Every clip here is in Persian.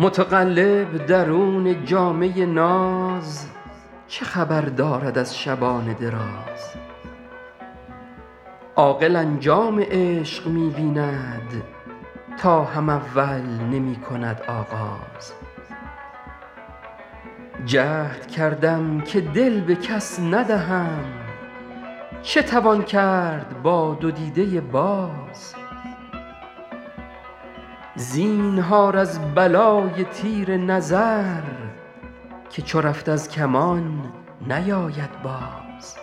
متقلب درون جامه ناز چه خبر دارد از شبان دراز عاقل انجام عشق می بیند تا هم اول نمی کند آغاز جهد کردم که دل به کس ندهم چه توان کرد با دو دیده باز زینهار از بلای تیر نظر که چو رفت از کمان نیاید باز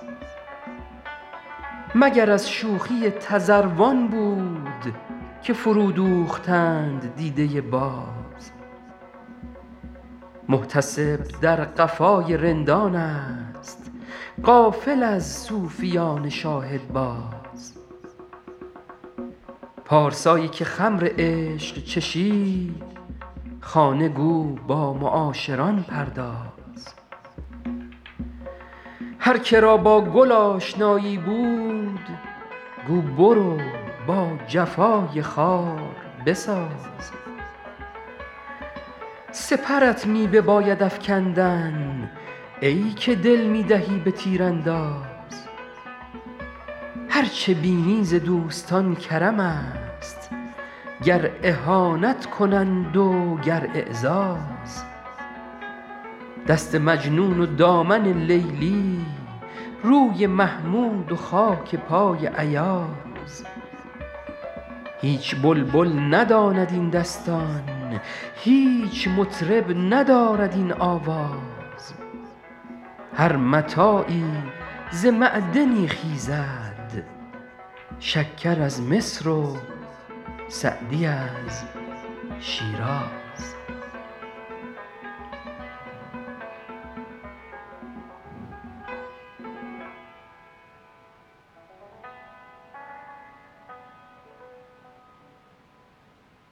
مگر از شوخی تذروان بود که فرودوختند دیده باز محتسب در قفای رندانست غافل از صوفیان شاهدباز پارسایی که خمر عشق چشید خانه گو با معاشران پرداز هر که را با گل آشنایی بود گو برو با جفای خار بساز سپرت می بباید افکندن ای که دل می دهی به تیرانداز هر چه بینی ز دوستان کرمست گر اهانت کنند و گر اعزاز دست مجنون و دامن لیلی روی محمود و خاک پای ایاز هیچ بلبل نداند این دستان هیچ مطرب ندارد این آواز هر متاعی ز معدنی خیزد شکر از مصر و سعدی از شیراز